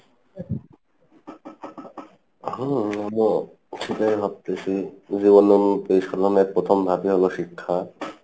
হম আমিও সেটাই ভাবতেছি যে প্রথম ভাগই হলো শিক্ষা